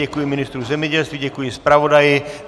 Děkuji ministru zemědělství, děkuji zpravodaji.